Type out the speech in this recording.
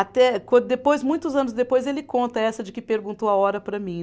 Até quando depois, muitos anos depois, ele conta essa de que perguntou a hora para mim.